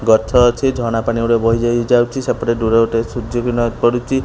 ଗଛ ଅଛି ଝରଣା ପାଣି ଗୁଡି଼କ ବହି ଯାଇ ଯାଉଚି ସେପଟେ ଦୂରରେ ଗୋଟେ ସୂର୍ଯ୍ୟ କିଣ ପଡ଼ୁଚି।